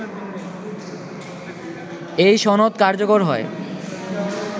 এই সনদ কার্যকর হয়